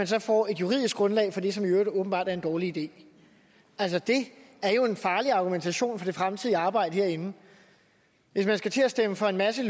så får et juridisk grundlag for det som i øvrigt åbenbart er en dårlig idé altså det er jo en farlig argumentation hvad angår det fremtidige arbejde herinde hvis man skal til at stemme for en masse